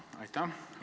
Aitäh!